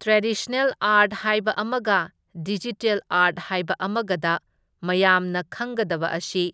traditional art ꯍꯥꯏꯕ ꯑꯃꯒ digital art ꯍꯥꯏꯕ ꯑꯃꯒꯗ ꯃꯌꯥꯝꯅ ꯈꯪꯒꯗꯕ ꯑꯁꯤ